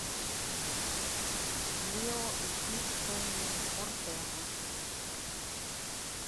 лео и тиг кенни ортега